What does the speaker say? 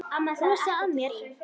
Brosa að mér!